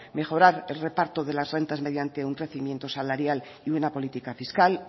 mejorar el reparto de las rentas mediante un crecimiento salarial y una política fiscal